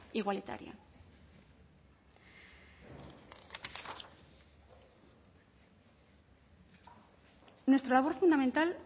igualitaria nuestra labor fundamental